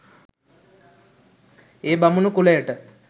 ඒ බමුණු කුලයට